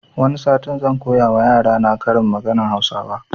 Wani satin zan koya ma yarana karin maganan hausawa